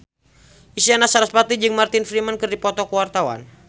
Isyana Sarasvati jeung Martin Freeman keur dipoto ku wartawan